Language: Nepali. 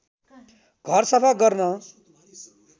घर सफा गर्न